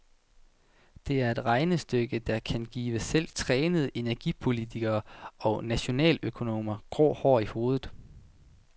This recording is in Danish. Det er et regnestykke, der kan give selv trænede energipolitikere og nationaløkonomer grå hår i hovedet.